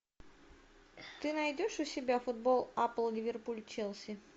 ты найдешь у себя футбол апл ливерпуль челси